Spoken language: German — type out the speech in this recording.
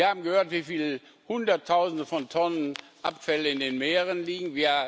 Wir haben gehört, wie viele Hunderttausende von Tonnen Abfälle in den Meeren liegen.